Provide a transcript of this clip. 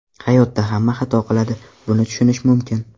Hayotda hamma xato qiladi, buni tushunish mumkin.